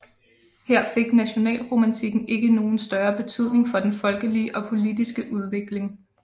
Her fik nationalromantikken ikke nogen større betydning for den folkelige og politiske udvikling